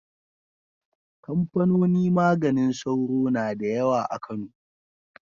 Kamfanoni maganin sauro na da yawa a Kano.